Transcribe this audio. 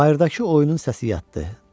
Bayırdakı oyunun səsi yatdı.